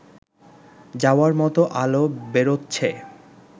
যাওয়ার মতো আলো বেরোচ্ছে